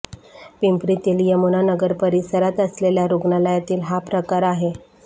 पिंपरीतील यमुना नगर परिसरात असलेल्या रुग्णालयातील हा प्रकार आहे